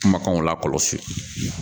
Kumakanw lakɔlɔsi